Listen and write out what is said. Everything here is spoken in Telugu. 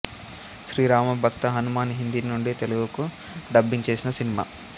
శ్రీ రామభక్త హనుమాన్ హిందీ నుండి తెలుగుకు డబ్బింగ్ చేసిన సినిమా